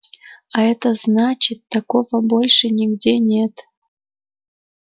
а это значит такого больше нигде нет